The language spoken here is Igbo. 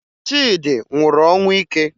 Chidi nwụrụ ọnwụ ike